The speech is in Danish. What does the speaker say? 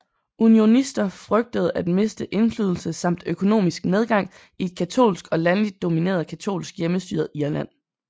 Unionister frygtede at miste indflydelse samt økonomisk nedgang i et katolsk og landligt domineret katolsk hjemmestyret Irland